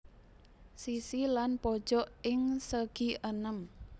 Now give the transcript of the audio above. Sisi lan pojok ing segienem